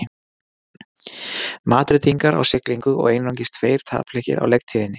Madrídingar á siglingu og einungis tveir tapleikir á leiktíðinni.